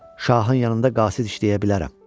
Şahın yanında qasid işləyə bilərəm.